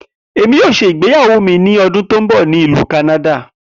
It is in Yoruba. Emi yoo ṣe igbeyawo mi ni ọdun to nbọ ni Ilu Kanada.